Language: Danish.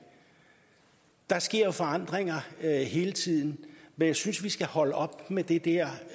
der sker jo forandringer hele tiden men jeg synes vi skal holde op med det der